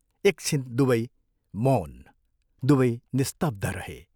एक छिन दुवै मौन दुवै निस्तब्ध रहे।